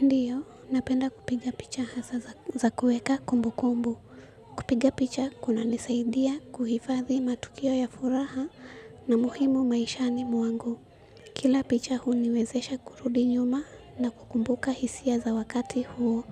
Ndiyo, napenda kupiga picha hasa za kuweka kumbukumbu. Kupiga picha kuna nisaidia kuhifadhi matukio ya furaha na muhimu maishani mwangu. Kila picha huniwezesha kurudi nyuma na kukumbuka hisia za wakati huo